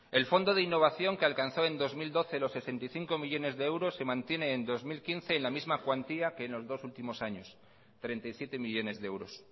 el fondo de innovación que alcanzó en dos mil doce los sesenta y cinco millónes de euros se mantiene en dos mil quince en la misma cuantía que en los dos últimos años treinta y siete millónes de euros